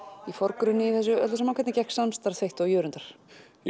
í forgrunni í þessu öllu saman hvernig gekk samstarf þitt og Jörundar ég